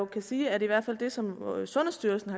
kan sige at det som sundhedsstyrelsen